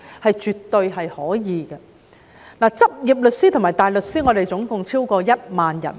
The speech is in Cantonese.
香港的執業律師及大律師超過1萬人。